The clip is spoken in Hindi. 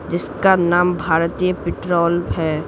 इसका नाम भारतीय पेट्रोल है।